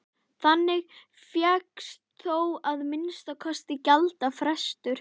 Þannig fékkst þó að minnsta kosti gjaldfrestur.